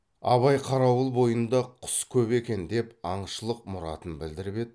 абай қарауыл бойында құс көп екен деп аңшылық мұратын білдіріп еді